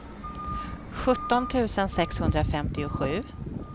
sjutton tusen sexhundrafemtiosju